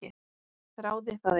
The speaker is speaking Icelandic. Þráði það eitt.